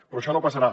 però això no passarà